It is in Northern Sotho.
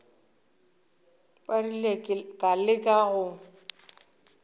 ba rile ka leka go